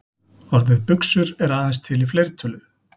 Orðið buxur er aðeins til í fleirtölu.